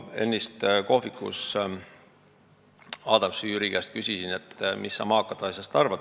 Ennist küsisin kohvikus Jüri Adamsi käest, et mis sa maakate asjast arvad.